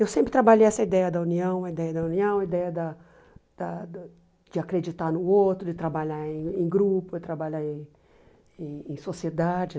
Eu sempre trabalhei essa ideia da união, a ideia da união, a ideia da da de acreditar no outro, de trabalhar em em grupo, de trabalhar em em em sociedade.